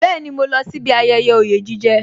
Bẹẹni, mo lọ sí bí ayẹyẹ oye jije